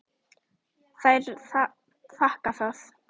Þær þakka það.